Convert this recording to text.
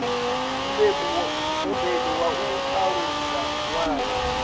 mubebi wa u alusa ṅwana